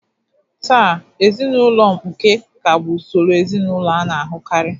Taa, ezinụlọ mkpuke ka bụ usoro ezinụlọ a na-ahụkarị.